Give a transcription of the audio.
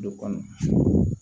Don kɔnɔ